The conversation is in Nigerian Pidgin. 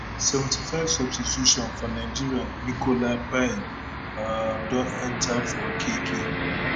seventy five substitution for nigeria nicola payne um don enta for okeke